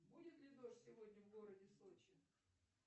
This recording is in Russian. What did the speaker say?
будет ли дождь сегодня в городе сочи